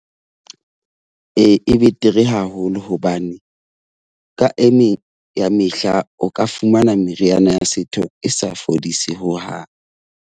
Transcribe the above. Ee, e betere haholo hobane ka emeng ya mehla o ka fumana meriana ya setho e sa fodise hohang.